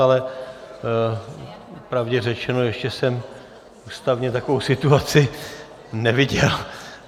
Ale popravdě řečeno, ještě jsem ústavně takovou situaci neviděl.